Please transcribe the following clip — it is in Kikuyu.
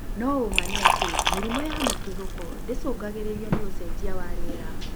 No ũũma nĩ atĩ mĩrimũ ya mũtuthũko ndĩcũngagĩrĩrio nĩ ũcenjia wa rĩera